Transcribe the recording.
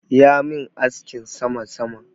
Ya min askin sama-sama.